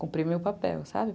Cumpri meu papel, sabe?